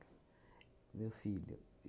Meu filho.